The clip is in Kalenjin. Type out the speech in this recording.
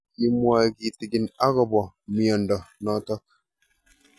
Kimwae kitig'in akopo miondo notok